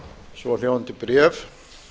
svohljóðandi bréf